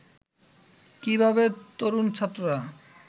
কিভাবে তরুণ ছাত্ররা